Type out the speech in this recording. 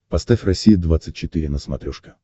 поставь россия двадцать четыре на смотрешке